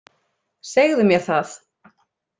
Segðu mér það.